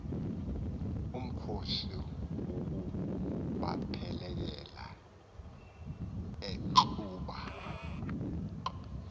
umkhosi wokubaphelekela enxuba